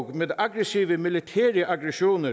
med aggressive militære aktioner